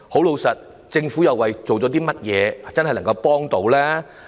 老實說，政府下了甚麼工夫，真正協助他們呢？